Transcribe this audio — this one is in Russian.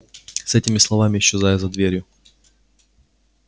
с этими словами исчезаю за дверью